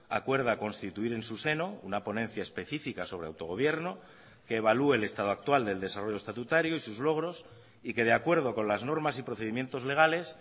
acuerda constituir en su seno una ponencia específica sobre autogobierno que evalúe el estado actual del desarrollo estatutario y sus logros y que de acuerdo con las normas y procedimientos legales